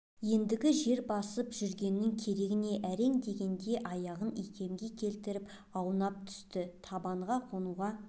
ендігі жер басып жүргеннің керегі не әрең дегенде аяғын икемге келтіріп аунап түсті табанға қонуға